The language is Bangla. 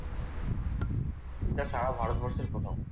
যেটা সারা ভারতবর্ষেই প্রথম।